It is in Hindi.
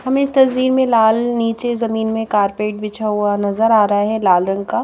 हमे इस तस्वीर में लाल नीचे जमीन में कारपेट बिछा हुआ नज़र आ रहा है लाल रंग का।